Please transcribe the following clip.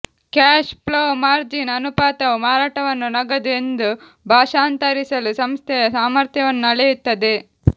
cash flow margin ಅನುಪಾತವು ಮಾರಾಟವನ್ನು ನಗದು ಎಂದು ಭಾಷಾಂತರಿಸಲು ಸಂಸ್ಥೆಯ ಸಾಮರ್ಥ್ಯವನ್ನು ಅಳೆಯುತ್ತದೆ